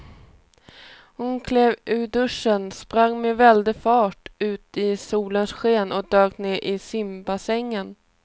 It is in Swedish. Hon klev ur duschen, sprang med väldig fart ut i solens sken och dök ner i simbassängen.